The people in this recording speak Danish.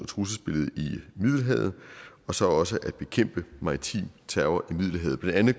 trusselsbilledet i middelhavet og så også at bekæmpe maritim terror i middelhavet det andet